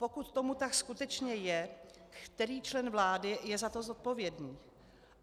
Pokud tomu tak skutečně je, který člen vlády je za to zodpovědný.